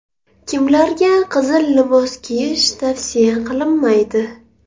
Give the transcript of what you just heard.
Kimlarga qizil libos kiyish tavsiya qilinmaydi?.